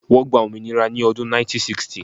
Wọ́n gba òmìnira ni ọdún 1960